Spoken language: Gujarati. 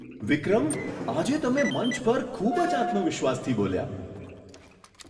વિક્રમ! આજે તમે મંચ પર ખૂબ જ આત્મવિશ્વાસથી બોલ્યા.